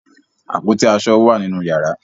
Àpótí aṣọ wà nínú yàrá.